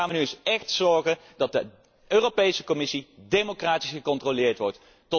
Wanneer gaan wij er nu echt eens voor zorgen dat de Europese Commissie democratisch gecontroleerd wordt?